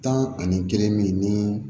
Tan ani kelen min ni